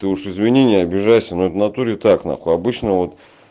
ты уж извини не обижайся но это в натуре так нахуй обычно вот